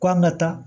K'an ka taa